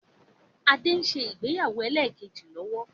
Adé ń ṣe ìgbéyàwó ẹlẹ́kẹ́jì lọ́wọ́